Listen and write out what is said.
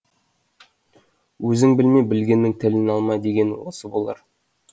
өзің білме білгеннің тілін алма деген осы болар